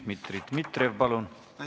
Dmitri Dmitrijev, palun!